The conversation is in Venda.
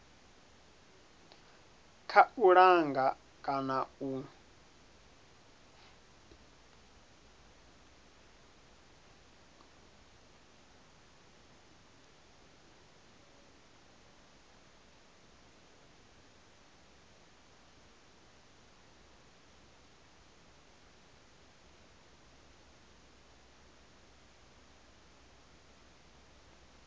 kha u langa kana u